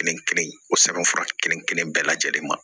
Kelen kelen o sɛbɛn fura kelen kelen bɛɛ lajɛlen ma